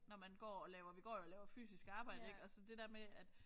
Når man går og laver vi går jo og laver fysisk arbejde ik og så det der med at